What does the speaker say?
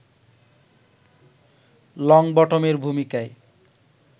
লংবটমের ভূমিকায়